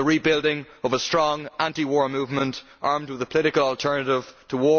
The rebuilding of a strong, anti war movement, armed with a political alternative to